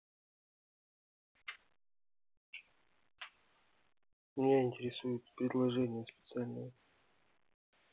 меня интересуют предложения специальные